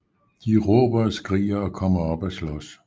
De råber og skriger og kommer op at slås